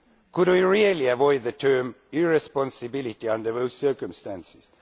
Can we really avoid the term irresponsibility' under those circumstances?